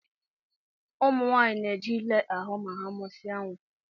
Ụmụ nwanyị na eje ile ahụ ma ha musia nwa.